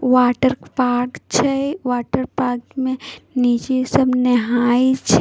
water park छै water park मे नीचे सब नाहाय छे --